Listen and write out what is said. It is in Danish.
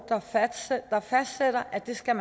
der fastsætter at det skal